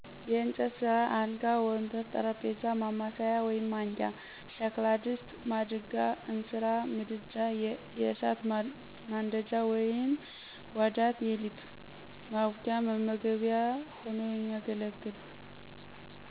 የእጨት ስ፦ አልጋ፣ ወንበር፣ ጠረጴዛ፣ ማማሰያ(ማንኪያ) ሸክላ፦ ድስት፣ ማድጋ(እንስራ)፣ምድጃ(የእሳት ማንደጃ) ዋዳት(የሊጥ ማቡኪያ፣ መመገቢያ ሆኖ የሚያገለግል)